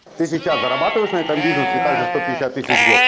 ты сейчас зарабатываешь на этом бизнесе также сто пятьдесят тысяч в год